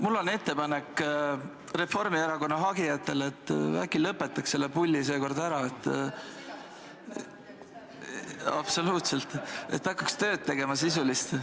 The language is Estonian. Mul on ettepanek Reformierakonna hagijatele, et äkki lõpetaks selle pulli seekord ära ja hakkaks sisulist tööd tegema.